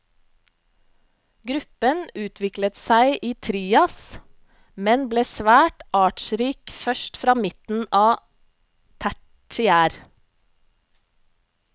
Gruppen utviklet seg i trias, men ble svært artsrik først fra midten av tertiær.